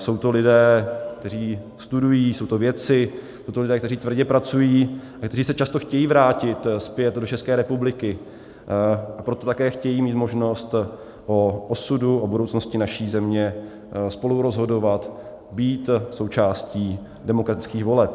Jsou to lidé, kteří studují, jsou to vědci, jsou to lidé, kteří tvrdě pracují a kteří se často chtějí vrátit zpět do České republiky, a proto také chtějí mít možnost o osudu, o budoucnosti naší země spolurozhodovat, být součástí demokratických voleb.